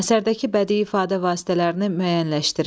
Əsərdəki bədii ifadə vasitələrini müəyyənləşdirin.